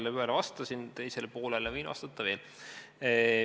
Ma korra sellele teisele poolele vastasin, võin vastata veel.